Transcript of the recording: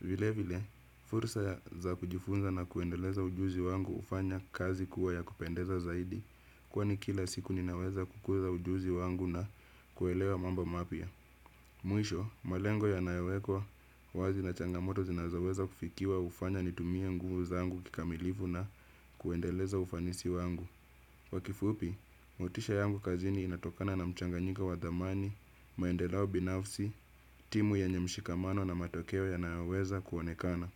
Vile vile, fursa za kujifunza na kuendeleza ujuzi wangu hufanya kazi kuwa ya kupendeza zaidi. Kwani kila siku ninaweza kukuza ujuzi wangu na kuelewa mambo mapya. Mwisho, malengo yanayowekwa wazi na changamoto zinazoweza kufikiwa hufanya nitumie nguvu zangu kikamilivu na kuendeleza ufanisi wangu kwa kifupi, motisha yangu kazini inatokana na mchanganyiko wa dhamani, maendeleo binafsi, timu yenye mshikamano na matokeo yanayoweza kuonekana.